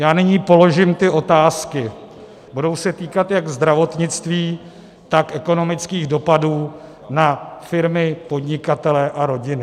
Já nyní položím ty otázky, budou se týkat jak zdravotnictví, tak ekonomických dopadů na firmy, podnikatele a rodiny.